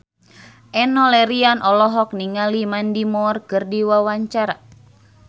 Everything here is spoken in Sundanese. Enno Lerian olohok ningali Mandy Moore keur diwawancara